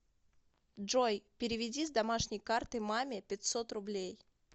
джой переведи с домашней карты маме пятьсот рублей